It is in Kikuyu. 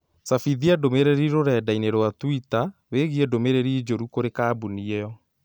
cabithia ndũmīrīri rũrenda-inī rũa tũita wĩĩgiĩ ndũmĩrĩri njũru kũrĩĩ kambuni ĩyo